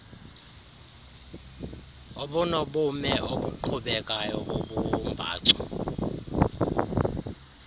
ubunobume obuqhubekayo bobumbacu